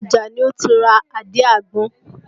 Ọjà ni ó ti ra àdí àgbọn